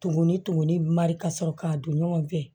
Tumu ni tumuni mari ka sɔrɔ k'a don ɲɔgɔn fɛ